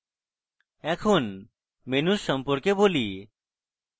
এখন menus সম্পর্কে বলি